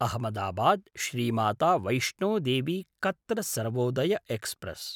अहमदाबाद्–श्री Mata Vaishno Devi Katra Sarvodaya express